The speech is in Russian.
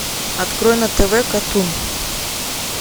открой на тв катун